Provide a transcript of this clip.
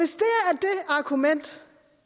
argument